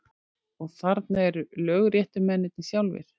Og þarna eru lögréttumennirnir sjálfir!